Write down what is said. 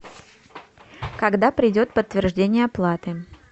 когда придет подтверждение оплаты